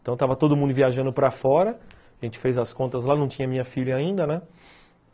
Então estava todo mundo viajando para fora, a gente fez as contas lá, não tinha minha filha ainda, né.